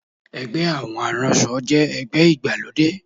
Ẹgbẹ́ àwọn aránṣọ jẹ́ ẹgbẹ́ ìgbàlódé